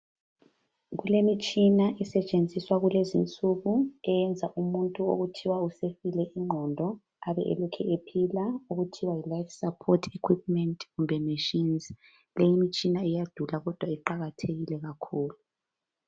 Kulemitshina esetshenziswa kulezinsuku eyenza umuntu okuthiwa usefile ingqondo abe elokhu ephila okuthiwa yi life support equipment kumbe machines leyi imitshina iyadula kodwa iqakathekile kakhulu.